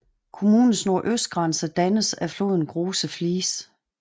Kommunens nordøstgrænse dannes af floden Große Fließ